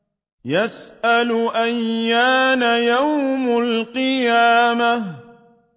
يَسْأَلُ أَيَّانَ يَوْمُ الْقِيَامَةِ